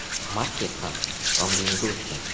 Markes ham islom diniga o‘tgan.